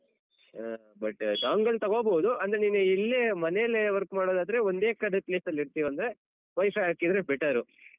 ಆ but dongle ತಗೋಬೋದು ಅಂದ್ರೆ ನೀನು ಇಲ್ಲೇ ಮನೆಯಲ್ಲೇ work ಮಾಡೋದಾದ್ರೆ ಒಂದೇ ಕಡೆ place ನಲ್ಲಿರ್ತೀವಂದ್ರೆ WiFi ಹಾಕಿದ್ರೆ better.